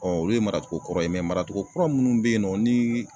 olu ye maracogo kɔrɔ ye mɛ maracogo kura minnu bɛ yen nɔ ni